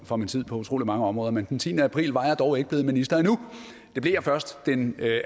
for min tid på utrolig mange områder men den tiende april var jeg dog ikke blevet minister endnu det blev jeg først den